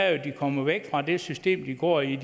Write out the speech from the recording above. at de kommer væk fra det system de går i